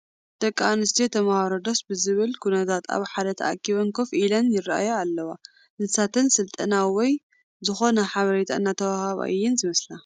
ደቂ ኣንስትዮ ተመሃሮ ደስ ብዝብል ኩነታት ኣብ ሓደ ተኣኪበን ኮይ ኢለን ይርአያ ኣለዋ፡፡ ንሳተን ስልጠና ወይ ዝኾነ ሓበሬታ እናተዋህባ እየን ዝመስላ፡፡